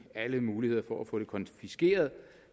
alle muligheder for at få det konfiskeret